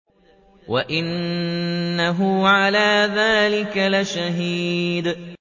وَإِنَّهُ عَلَىٰ ذَٰلِكَ لَشَهِيدٌ